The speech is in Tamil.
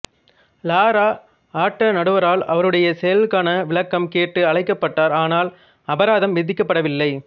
லாரா ஆட்ட நடுவரால் அவருடைய செயல்களுக்கான விளக்கம் கேட்டு அழைக்கப்பட்டார் ஆனால் அபராதம் விதிக்கப்படவில்லை